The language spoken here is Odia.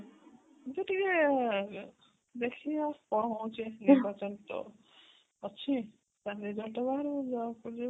ଦେଖିବା କଣ ହୋଉଛି ନିର୍ବାଚନ ତ ଅଛି ତା result ବାହାରୁ ଜଣ ପଡି ଯିବ